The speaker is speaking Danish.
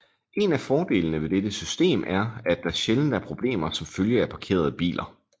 En af fordelene ved dette system er at der sjældent er problemer som følge af parkerede biler